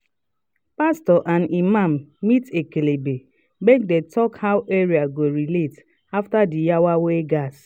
pastors and imam meet ekelebe make them talk how area go relate after the yawa wey gas